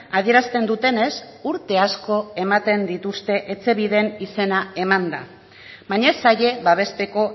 adierazten dutenez urte asko ematen dituzte etxebiden izena emanda baina ez zaie babesteko